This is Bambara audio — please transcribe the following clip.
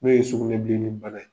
N'o ye sugunɛbilenni bana ye